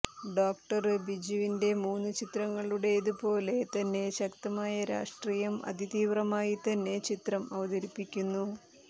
doctor ബിജുവിന്റെ മുന് ചിത്രങ്ങളൂടേത് പോലെ തന്നെ ശക്തമായ രാഷ്ട്രീയം അതിതീവ്രമായി തന്നെ ചിത്രം അവതരിപ്പിക്കുന്നു